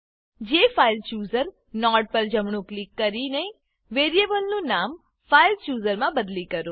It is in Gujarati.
જેફાઇલચૂઝર નોડ પર જમણું ક્લિક કરીને વેરીએબલનું નામ ફાઇલચૂઝર માં બદલી કરો